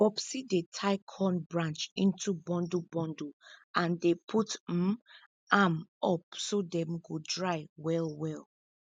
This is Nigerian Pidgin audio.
popsie dey tie corn branch into bundle bundle and dey put um am up so dem go dry well well